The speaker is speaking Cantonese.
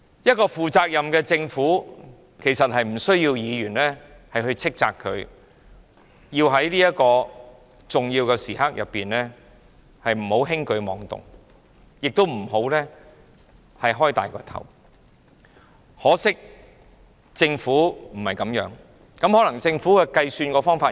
一個負責任的政府，其實無需議員斥責，它不應在重要時刻輕舉妄動，亦不應貿然大增開支，可惜政府卻不是這樣行事，可能政府有不同的計算方法吧。